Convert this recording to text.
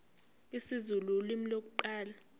isizulu ulimi lokuqala